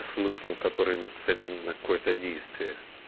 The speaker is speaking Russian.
смысл он который нацелен на какое-то действие